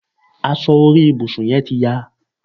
Aṣọ orí ibùsùn yẹ́n ti ya